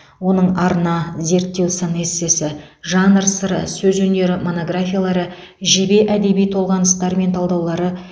оның арна зерттеу сын эссесі жанр сыры сөз өнері монографиялары жебе әдеби толғаныстар мен талдаулары